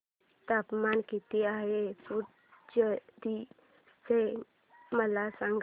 तापमान किती आहे पुडुचेरी चे मला सांगा